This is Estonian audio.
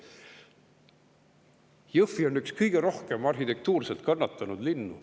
Jõhvi on üks kõige rohkem arhitektuuriliselt kannatanud linnu.